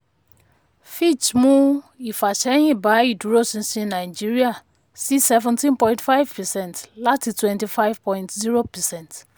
fitch mú ífàsẹ́yín ba ìdúróṣinṣin nàìjíríà sí seventeen point five percent láti twenty five point zero percent.